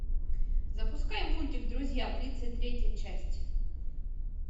запускай мультик друзья тридцать третья часть